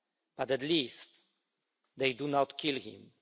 But at least, they did not kill him.